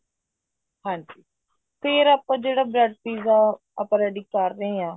ਹਾਂਜੀ ਫ਼ੇਰ ਆਪਾਂ ਜਿਹੜਾ bread pizza ਆਪਾਂ ready ਕਰ ਰਹੇ ਹਾਂ